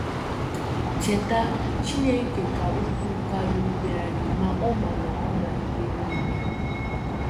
Cheta, ‘Chineke ka ukwuu karịa obi anyị, ma Ọ ma Ọ ma ihe niile.’